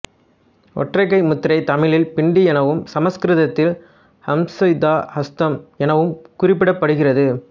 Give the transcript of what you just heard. ஒற்றைக்கை முத்திரை தமிழில் பிண்டி எனவும் சமஸ்கிருதத்தில் அசம்யுதஹஸ்தம் எனவும் குறிப்பிடப்படுகிறது